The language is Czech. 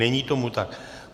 Není tomu tak.